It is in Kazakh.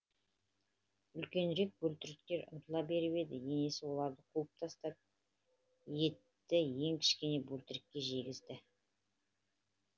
үлкенірек бөлтіріктер ұмтыла беріп еді енесі оларды қуып тастап етті ең кішкене бөлтірікке жегізді